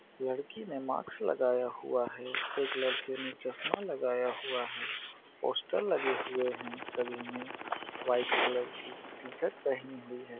लड़की ने मास्क लगाया हुआ है एक लड़के ने चश्मा लगाया हुआ है पोस्टर लगे हुए है सभी ने व्हाइट कलर की टी शर्ट पहनी हुई है।